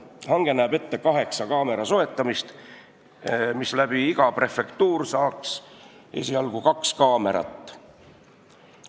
Hange näeb ette kaheksa kaamera soetamist, iga prefektuur saaks esialgu kaks kaamerat.